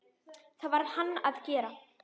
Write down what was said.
Það varð hann að gera.